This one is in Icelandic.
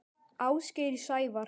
Ásgeir Sævar.